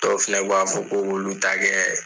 Dɔw fɛnɛ b'a fɔ ko k'ulu ta kɛ